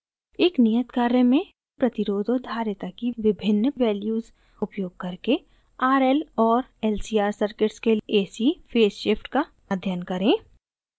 एक नियत कार्य में प्रतिरोध और धारिता की विभिन्न वैल्यूज़ उपयोग करके rl और lcr सर्किट्स के ac फेज़ शिफ़्ट का अध्ययन करें